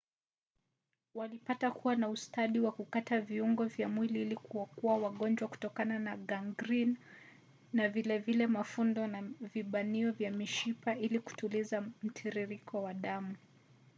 walipata kuwa na ustadi wa kukata viungo vya mwili ili kuokoa wagonjwa kutokana na gangrini na vile vile mafundo na vibanio vya mishipa ili kutuliza mtiririko wa damu